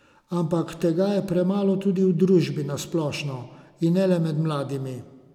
Ampak tega je premalo tudi v družbi na splošno, in ne le med mladimi.